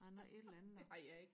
et eller andet og